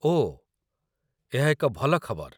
ଓଃ, ଏହା ଏକ ଭଲ ଖବର।